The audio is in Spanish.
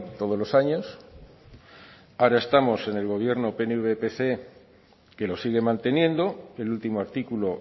todos los años ahora estamos en el gobierno pnv pse que lo sigue manteniendo el último artículo